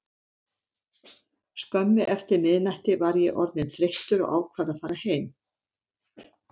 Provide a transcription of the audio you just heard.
Skömmu eftir miðnætti var ég orðinn þreyttur og ákvað að fara heim.